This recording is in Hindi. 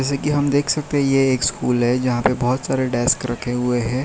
कि हम देख सकते है कि ए एक स्कूल है जहां पे बहोत सारे डेस्क रखे हुए हैं।